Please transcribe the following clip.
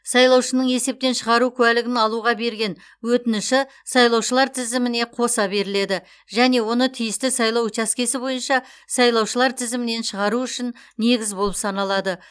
сайлаушының есептен шығару куәлігін алуға берген өтініші сайлаушылар тізіміне қоса беріледі және оны тиісті сайлау учаскесі бойынша сайлаушылар тізімінен шығару үшін негіз болып саналады